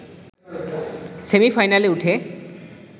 সেমি-ফাইনালে উঠে